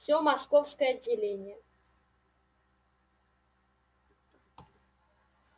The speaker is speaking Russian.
все московское отделение